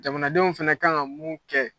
Jamanadenw fɛnɛ kan ka mun kɛ